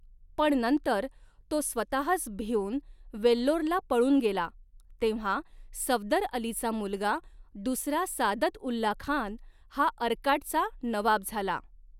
पण नंतर तो स्वतःच भिऊन वेल्लोरला पळून गेला तेव्हा सफदरअलीचा मुलगा दुसरा सादतउल्लाखान हा अर्काटचा नवाब झाला.